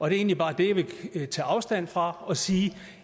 er egentlig bare det jeg vil tage afstand fra og sige at